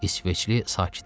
İsveçli sakitləşdi.